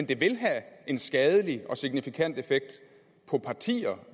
det vil have en skadelig og signifikant effekt